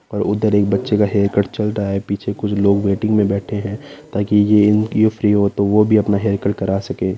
और उधर एक बच्चे का हेअर कट चल रहा है पीछे कुछ लोग वेटिंग में बैठे है ताकि ये फ्री हो तो वो भी अपना हेअरकट करा सके।